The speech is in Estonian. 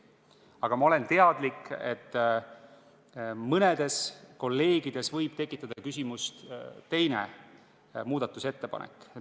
Samas ma olen teadlik, et mõnes kolleegis võib tekitada küsimust 2. muudatusettepanek.